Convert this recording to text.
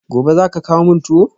Gobe ​​zaka kawo min tuwo?